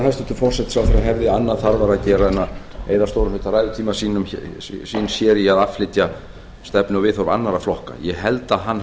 hæstvirtur forsætisráðherra hefði annað þarfara að gera en að eyða stórum hluta ræðutíma síns hér í að flytja stefnu og viðhorf annarra flokka ég held að hann